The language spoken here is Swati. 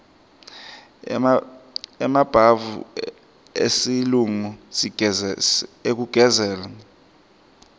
emabhavu esilungu ekugezela